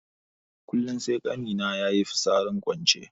Kullun sai ƙani na yayi fitsarin kwance.